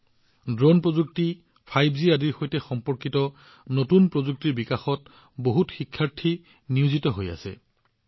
বৈদ্যুতিক গতিশীলতা হওক ড্ৰোন প্ৰযুক্তি বা ৫জিয়েই হওক আমাৰ বহুতো শিক্ষাৰ্থীয়ে এইবোৰৰ সৈতে সম্পৰ্কিত নতুন প্ৰযুক্তি বিকাশত নিয়োজিত হৈ আছে